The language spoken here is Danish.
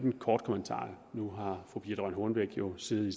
en kort kommentar for nu har fru birthe rønn hornbech jo siddet i